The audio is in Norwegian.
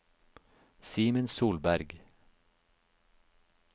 Simen Solberg